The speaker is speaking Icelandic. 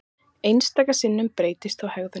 Einstaka sinnum breytist þó hegðunin.